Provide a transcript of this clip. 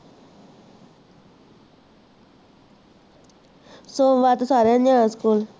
ਸੋਮਵਾਰ ਤਾਂ ਸਾਰਿਆਂ ਨੇ ਜਾਣਾ ਸਕੂਲ